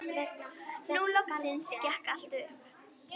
Nú loksins gekk allt upp.